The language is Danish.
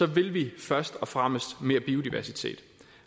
vil vi først og fremmest mere biodiversitet